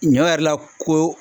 Ɲɔ yɛrɛ la ko